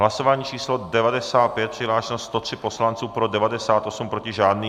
Hlasování číslo 95, přihlášeno 103 poslanců, pro 98, proti žádný.